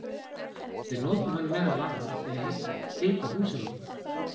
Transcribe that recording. við notum hann meðal annars til að hita húsin okkar!